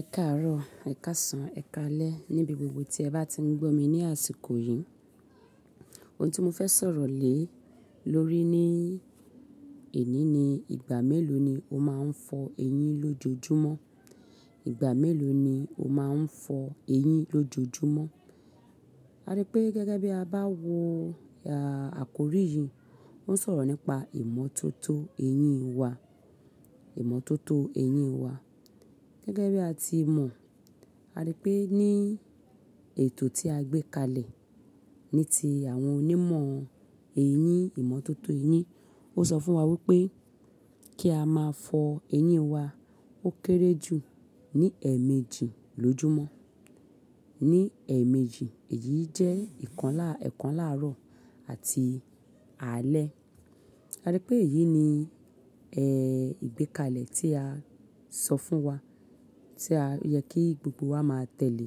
Ẹ̀karọ̀, ẹ̀kasan, ẹ̀kalẹ níbi gbogbo tí ẹ bá ti ń gbó mi ní àsìkò yìí. Ohun tí mo fẹ́ sọ̀rọ̀ lé lórí ní èní ni ìgbà mélòó ni o máa ń fọ eyín lójoojúmọ́. Ìgbà mélòó ni o máa ń fọ eyín lójoojúmọ́. A rí pé gẹ́gẹ́ bí a bá wo àkórí yìí ń sọ̀rọ̀ nípa ìmọ̀ tó tó eyín wa, ìmọ̀ tó tó eyín wa. Gẹ́gẹ́ bí a ti mọ̀, a rí pé ní ètò tí a gbé kalẹ̀ ní ti àwọn onímọ̀ eyín, ìmọ̀ tó tó eyín, ó sọ fún wa wípé kí a máa fọ eyín wa ó kéré jù ní ẹ̀ẹ̀méjì lójoojúmọ́. Ní ẹ̀ẹ̀méjì, èyí jẹ́ ìkànlá, ẹ̀kànlá àárọ̀ àti alẹ́. A rí pé èyí ni, ẹ́, ìgbékalẹ̀ tí a sọ fún wa tí ó yẹ kí gbogbo wa máa tẹ̀lé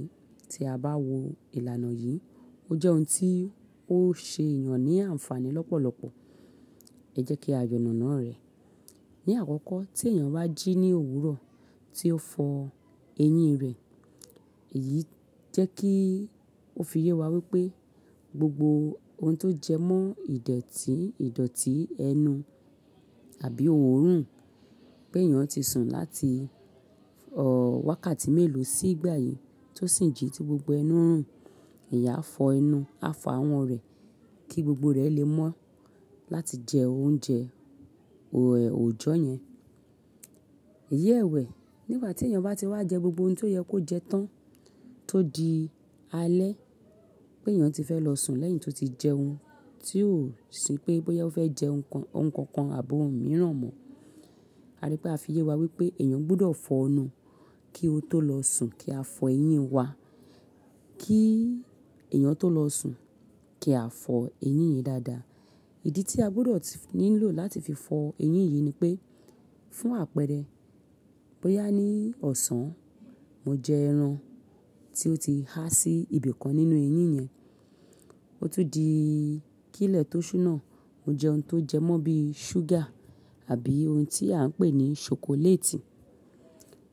tí a bá wo ìlànà yìí. Ó jẹ́ ohun tí ó ṣe èèyàn ní àǹfààní lọ́pọ̀lọpọ̀. Ẹ jẹ́ kí a yànànà rẹ̀. Ni àkọ́kọ́, tí èèyàn bá jí ní òwúrọ̀ tí ó fọ eyín rẹ̀, èyí jẹ́ kí ó fi yé wa wípé gbogbo ohun tó jẹ mọ́ ìdọ̀tí, ìdọ̀tí ẹnu àbí òórùn pé èèyàn ti sùn láti, ọ̀, wákàtí mélòó sí ìgbà yìí tó sì ń jí tí gbogbo ẹnu ń rùn. Ẹ̀yà á fọ ẹnu, á fọ àwọ̀ rẹ̀ kí gbogbo rẹ̀ lè mọ́ láti jẹ oúnjẹ, òòjọ́ yẹn. Iyẹ́wẹ̀, nígbà tí èèyàn bá ti wá jẹ gbogbo ohun tí ó yẹ kó jẹ tán tó di alẹ́ pé èèyàn ti fẹ́ lọ sùn lẹ́yìn tó ti jẹ ohun tí ó ń ṣì pé bóyá ó fẹ́ jẹ ohun kan kan àbó òun mìíràn mọ́. A rí pé a fi yé wa wípé èèyàn gbọdọ̀ fọ ẹnu kí ó tó lọ sùn kí a fọ eyín wa kí èèyàn tó lọ sùn kí a fọ eyín yìí dáadáa. Ìdí tí a gbọdọ̀ nílò láti fi fọ eyín yìí ni pé fún àpẹẹrẹ, bóyá ní ọ̀sán mo jẹ ẹran tí ó ti há sí ibìkan nínú eyín yẹn, ó tún di kílé tó ṣú náà mo jẹ ohun tó jẹ mọ́ bí ṣúgà àbí ohun tí à ń pè ní ṣokoléètì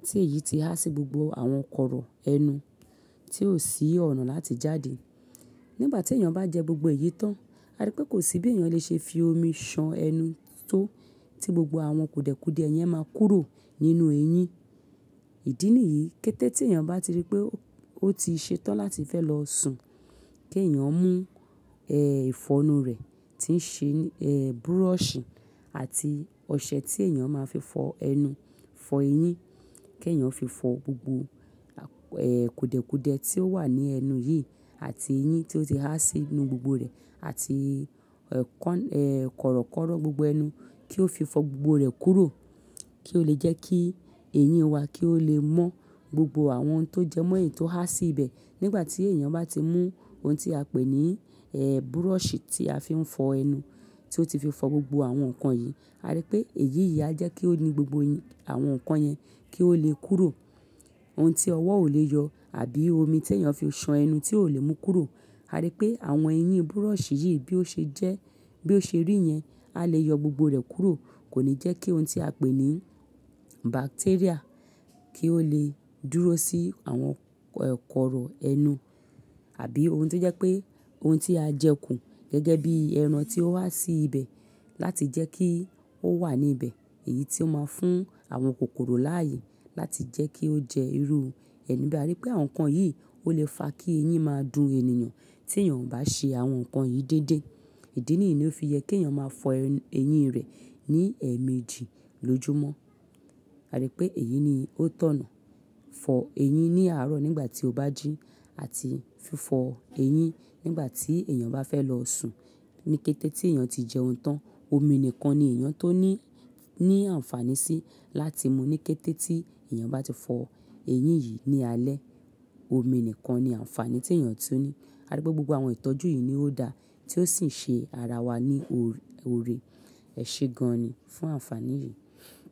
tí èyí ti há sí gbogbo àwọn kọ̀rọ̀ ẹnu tí ò sí ọ̀nà láti jáde. Nígbà tí èèyàn bá jẹ gbogbo èyí tán, a rí pé kò sí bí èèyàn lè ṣe fi omi ṣan ẹnu tó tí gbogbo àwọn kùdẹ̀kùdẹ̀ yẹn máa kúrò nínú eyín. Ìdí nìyí kété tí èèyàn bá ti rí pé ó ti ṣe tán láti fẹ́ lọ sùn kí èèyàn mú, ẹ́, ìfọnu rẹ̀ tí ń ṣe, ẹ́, búrọ̀sì àti ọṣẹ tí èèyàn máa fi fọ ẹnu fọ eyín kí èèyàn fi fọ gbogbo, ẹ́, kùdẹ̀kùdẹ̀ tí ó wà ní ẹnu yìí àti eyín tí ó ti há sí inú gbogbo rẹ̀ àti, ẹ́, kọ̀rọ̀kọ́rọ́ gbogbo ẹnu kí ó fi fọ gbogbo rẹ̀ kúrò kí ó lè jẹ́ kí eyín wa kí ó lè mọ́ gbogbo àwọn ohun tó jẹ mọ́ èyí tó há sí ibẹ̀. Nígbà tí èèyàn bá ti mú ohun tí a pè ní, ẹ́, búrọ̀sì tí a fi ń fọ ẹnu tí ó ti fi fọ gbogbo àwọn nǹkan yìí, a rí pé èyí yìí á jẹ́ kí ó ní gbogbo àwọn nǹkan yẹn kí ó lè kúrò. Ohun tí ọwọ́ ò lè yọ àbí omi tí èèyàn fi ṣan ẹnu tí ò lè mú kúrò. A rí pé àwọn eyín búrọ̀sì yìí bí ó ṣe jẹ́, bí ó ṣe rí yẹn, a lè yọ gbogbo rẹ̀ kúrò. Kò ní jẹ́ kí ohun tí a pè ní bacteria kí ó lè dúró sí àwọn kọ̀rọ̀ ẹnu àbí ohun tí jẹ́ pé ohun tí a jẹ kù gẹ́gẹ́ bí ẹran tí ó wá sí ibẹ̀ láti jẹ́ kí ó wà níbẹ̀. Èyí tí ó máa ń fún àwọn kòkòrò láàyè láti jẹ́ kí ó jẹ irú ẹnu. A rí pé àwọn nǹkan yìí ó lè fa kí eyín máa dun èèyàn tí èèyàn ò bá ṣe àwọn nǹkan yìí déédéé. Ìdí nìyí ló fi yẹ kí èèyàn máa fọ ẹyín rẹ̀ ní ẹ̀ẹ̀méjì lójoojúmọ́. A rí pé èyí ni ó tọ̀nà. Fọ ẹyín ní àárọ̀ nígbà tí ó bá jí àti fí fọ ẹyín nígbà tí èèyàn bá fẹ́ lọ sùn. Ní kété tí èèyàn ti jẹ ohun tán, omi nìkan ni èèyàn tó ní, ní àǹfààní sí láti mu ní kété tí èèyàn bá ti fọ ẹyín yìí ní alẹ́. Omi nìkan ni àǹfààní tí èèyàn tún ní. A rí pé gbogbo àwọn ìtọ́jú yìí ni ó dá tí ó sì ń ṣe ara wa ní oore. Ẹ ṣe gan ni fún àǹfààní yìí.